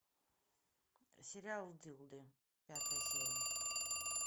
сериал дылды пятая серия